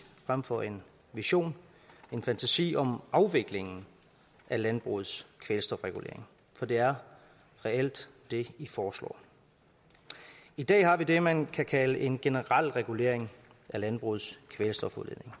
frem for en vision en fantasi om afviklingen af landbrugets kvælstofregulering for det er reelt det i foreslår i dag har vi det man kan kalde en generel regulering af landbrugets kvælstofudledning